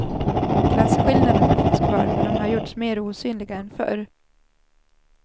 Klasskillnaderna finns kvar, men de har gjorts mer osynliga än förr.